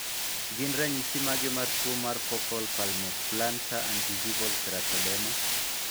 Gin ranyisi mage mar tuo mar Focal palmoplantar and gingival keratoderma?